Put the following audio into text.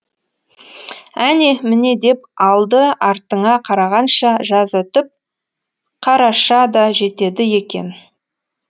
әне міне деп алды артыңа қарағанша жаз өтіп қараша да жетеді екен